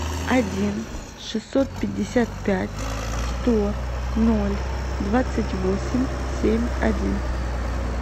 один шестьсот пятьдесят пять сто ноль двадцать восемь семь один